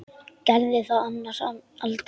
Gerði það annars aldrei.